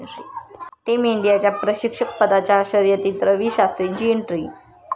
team इंडियाच्या प्रशिक्षकपदाच्या शर्यतीत रवी शास्त्रींची एंट्री